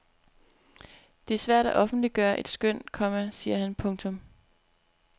Det er svært at offentliggøre et skøn, komma siger han. punktum